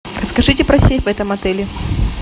расскажите про сейф в этом отеле